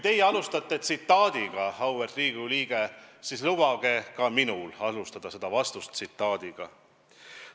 Teie alustasite tsitaadiga, auväärt Riigikogu liige, ja lubage ka minul oma vastust alustada tsitaadiga.